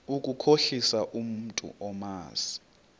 ukukhohlisa umntu omazi